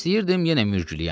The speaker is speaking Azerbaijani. İstəyirdim yenə mürgülüyəm.